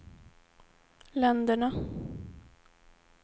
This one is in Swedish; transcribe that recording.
länderna